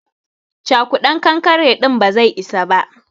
Cakudan kankare din ba zai isa ba.